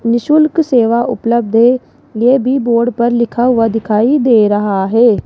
निशुल्क सेवा उपलब्ध है ये भी बोर्ड पर लिखा हुआ दिखाई दे रहा है।